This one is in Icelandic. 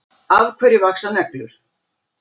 Af hverju vaxa neglur?